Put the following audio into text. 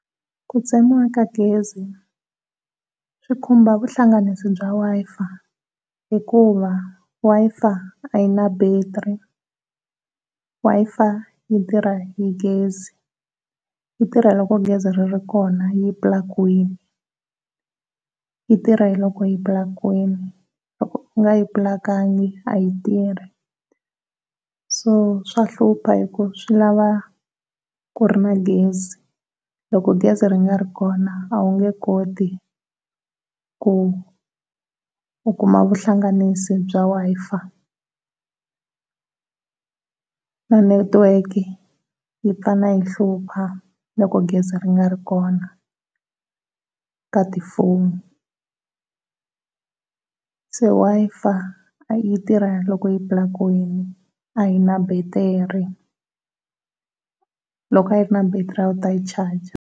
Ku tsemiwa ka gezi swi khumba vuhlanganisi bya Wi-Fi, hikuva Wi-Fi a yi na battery. Wi-Fi yi tirha hi gezi yi tirha loko gezi ri ri kona yi plakiwin, yi tirha hi loko tipulakiwini loko u nga yi pulakangi a yi ri tirhi so swa hlupha hi ku swi lava ku ri na gezi loko gezi ri nga ri kona a wu nge koti ku u kuma vuhlanganisi bya Wi-Fi na netiweke yi tala yi hlupha loko gezi ri nga ri kona ka ti fonu. Se Wi-Fi yi tirha loko i pulakiwini a yi na battery loko a yi ri na battery a wu ta yi charger.